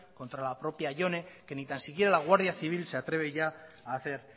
contra la propia jone que ni tan siquiera la guardia civil se atreve ya a hacer